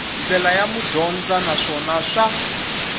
ndlela ya madyondza naswona swa